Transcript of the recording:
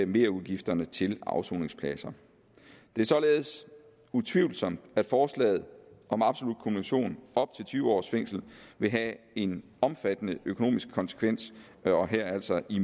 merudgifterne til afsoningspladser det er således utvivlsomt at forslaget om absolut kumulation op til tyve års fængsel vil have en omfattende økonomisk konsekvens og her altså i